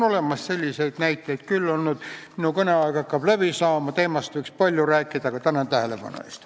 Minu kõne aeg hakkab läbi saama, teemast võiks palju rääkida, aga tänan tähelepanu eest.